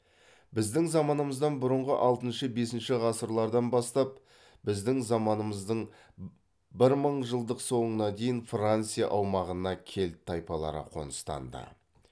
біздің заманымыздан бұрынғы алтыншы бесінші ғасырлардан бастап біздің заманымыздың бір мың жылдықтың соңына дейін франция аумағына кельт тайпалары қоныстанды